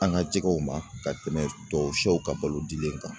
An ka jɛgɛw ma ka tɛmɛ tubabu sɛw ka balo dili kan